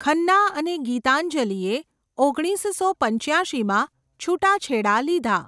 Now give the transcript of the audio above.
ખન્ના અને ગીતાંજલિએ ઓગણીસસો પંચ્યાશીમાં છૂટાછેડા લીધા.